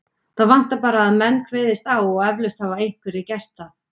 Það vantar bara að menn kveðist á og eflaust hafa einhverjir gert það.